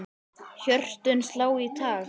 Hjörtun slá í takt.